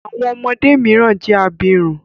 Àwọn ọmọdé mìíràn jẹ abirùn.